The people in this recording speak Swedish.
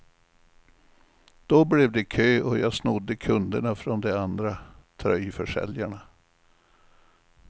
Då blev det kö och jag snodde kunderna från de andra tröjförsäljarna.